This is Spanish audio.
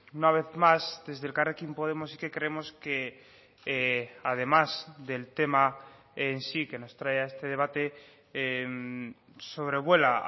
una vez más desde elkarrekin podemos sí que creemos que además del tema en sí que nos trae a este debate sobrevuela